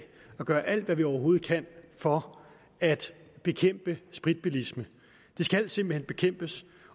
at gøre alt hvad vi overhovedet kan for at bekæmpe spritbilisme det skal simpelt hen bekæmpes